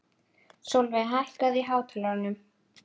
Sólveig, hækkaðu í hátalaranum.